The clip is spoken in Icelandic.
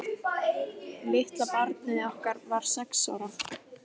Litla barnið okkar var sex ára.